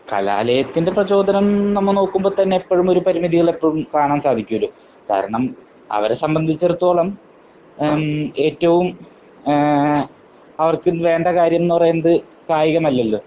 കലാലയത്തിന്റെ പ്രചോദനം നമ്മൾ നോക്കുമ്പോൾ തന്നെ എപ്പഴും ഒരു പരിമിതികൾ എപ്പഴും കാണാൻ സാധിക്കുമല്ലോ. കാരണം അവരെ സംബന്ധിച്ചിടത്തോളം ഏറ്റവും മമ് അവർക്ക് വേണ്ട കാര്യം എന്ന് പറയുന്നത് കായികമല്ലല്ലോ.